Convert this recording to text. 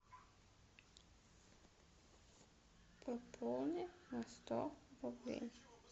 пополни на сто рублей